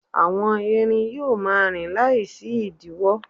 àwọn erin yíò ma rin Lai sí idiwo